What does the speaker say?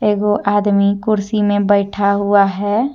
वो आदमी कुर्सी में बैठा हुआ है।